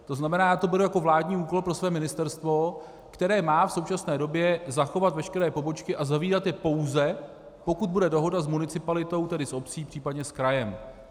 To znamená, já to beru jako vládní úkol pro své ministerstvo, které má v současné době zachovat veškeré pobočky a zavírat je pouze, pokud bude dohoda s municipalitou, tedy s obcí, případně s krajem.